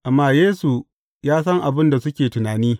Amma Yesu ya san abin da suke tunani.